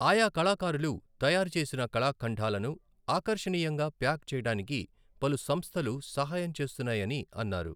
ఆయా కళకారులు తయారు చేసిన కళఖండాలను ఆకర్షణీయంగా ప్యాక్ చేయడానికిగా పలు సంస్థలు సహాయం చేస్తున్నాయని అన్నారు.